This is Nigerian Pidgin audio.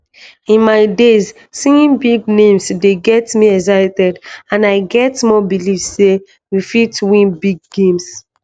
in my days seeing big names dey get me excited and i get more belief say we fit win big games